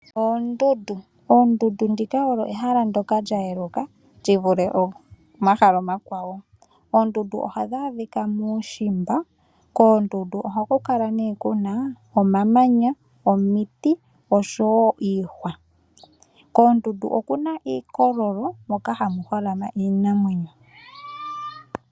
Oondunda odho ehala lyoka lya yeluka li vule omahala omakwa wo. Oondundu ohadhi adhika muushimba. Koondundu oha ku kala kuna omamanya, omiti osho woo iihwa. Koondundu okuna iikololo moka hamu holama iinamwenyo.